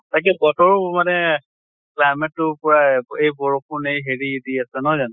তাকে বতৰো মানে climate তো পুৰা, এই বৰষুণ এই হেৰি দি আছে নহয় জানো?